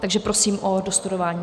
Takže prosím o dostudování.